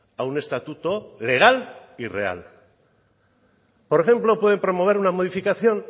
a un estatuto legal y real por ejemplo pueden promover una modificación